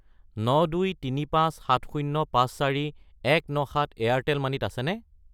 92357054,197 Airtel money ত আছেনে?